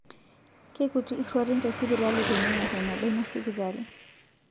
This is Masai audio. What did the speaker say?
Keikuti iruatin te sipitali tening'or eneba ina sipitali